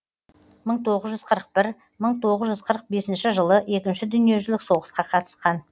мың тоғыз жүз қырық бір мың тоғыз жүз қырық бесінші жылы екінші дүниежүзілік соғысқа қатысқан